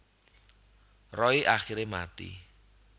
Roy akhire mati